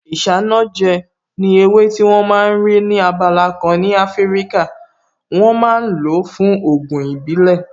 Isanaje ni ewé tí wón ma ń rí ní abala kan ní Afíríkà, wọ́n ma ń lo fún Ògùn ìbílẹ̀